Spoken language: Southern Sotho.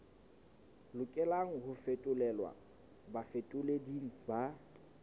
lokelang ho fetolelwa bafetoleding ba